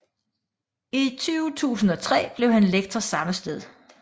I 2003 blev han lektor samme sted